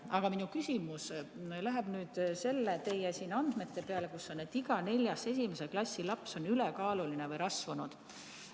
Aga minu küsimus on teie andmete kohta, et iga neljas esimese klassi laps on ülekaaluline või rasvunud.